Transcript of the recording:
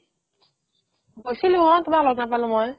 গৈছিলো অ তোমাক লগ নাপালো মই